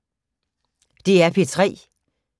DR P3